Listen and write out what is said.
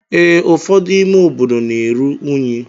Ee, ụfọdụ ime obodo na-eru unyi.